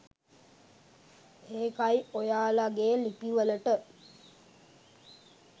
ඒකයි ඔයාලගේ ලිපි වලට